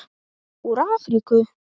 Úr Afríku!